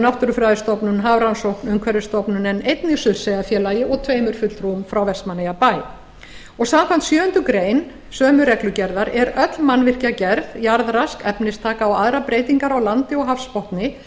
náttúrufræðistofnun hafrannsókn umhverfisstofnun en einnig surtseyjarfélagi og tveimur fulltrúum frá vestmannaeyjabæ samkvæmt sjöundu grein sömu reglugerðar öll mannvirkjagerð jarðrask efnistaka og aðrar breytingar á landi og hafsbotni